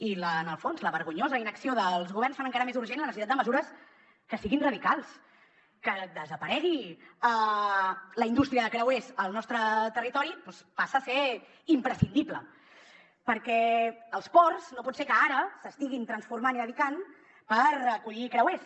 i en el fons la vergonyosa inacció dels governs fa encara més urgent la necessitat de mesures que siguin radicals que desaparegui la indústria de creuers al nostre territori doncs passa a ser imprescindible perquè els ports no pot ser que ara s’estiguin transformant i dedicant a acollir creuers